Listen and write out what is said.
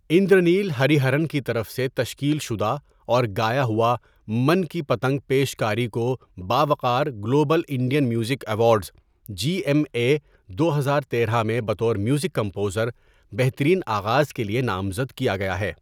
اندرانیل Hariharan کی طرف سے تشکیل شدہ اور گایا ہوا من کی پتنگ پیش کاری کو باوقار global Indian music awards, G M A دو ہزار تیرہ میں بطور میوزک کمپوزر بہترین آغاز کے لیے نامزد کیا گیا ہے.